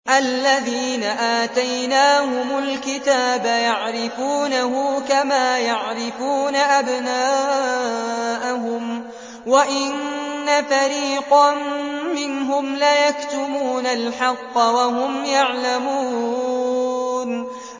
الَّذِينَ آتَيْنَاهُمُ الْكِتَابَ يَعْرِفُونَهُ كَمَا يَعْرِفُونَ أَبْنَاءَهُمْ ۖ وَإِنَّ فَرِيقًا مِّنْهُمْ لَيَكْتُمُونَ الْحَقَّ وَهُمْ يَعْلَمُونَ